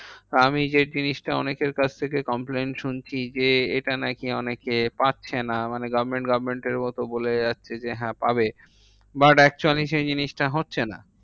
আমি যে জিনিসটা অনেকের কাছ থেকে complain শুনছি যে, এটা নাকি অনেকে পাচ্ছে না। মানে government government এর মতো বলে যাচ্ছে যে হ্যাঁ পাবে। but actually সেই জিনিসটা হচ্ছে না।